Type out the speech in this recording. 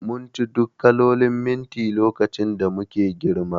Munci duk kalolin minti lokacin da muke girma